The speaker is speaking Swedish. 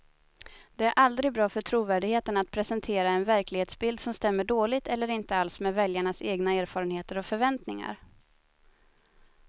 Det är aldrig bra för trovärdigheten att presentera en verklighetsbild som stämmer dåligt eller inte alls med väljarnas egna erfarenheter och förväntningar.